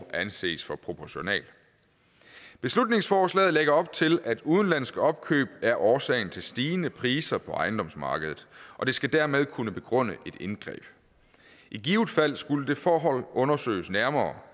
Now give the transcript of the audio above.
anses for proportionalt beslutningsforslaget lægger op til at udenlandske opkøb er årsagen til stigende priser på ejendomsmarkedet og det skal dermed kunne begrunde et indgreb i givet fald skulle det forhold undersøges nærmere